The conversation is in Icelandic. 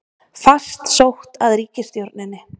Fast sótt að ríkisstjórninni